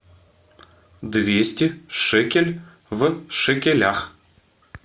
двести шекель в шекелях